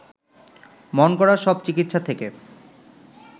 মনগড়া সব চিকিৎসা থেকে